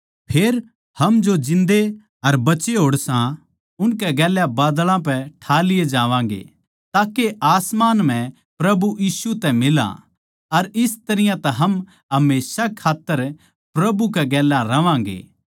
फेर हम जो जिन्दे अर बचे होड़े सां उनकै गेल्या बादळां पै ठा लिए जावांगें ताके आसमान म्ह प्रभु यीशु तै मिला अर इस तरियां तै हम हमेशा कै खात्तर प्रभु कै गेल्या रहवांगें